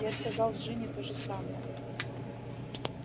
я сказал джинни тоже самое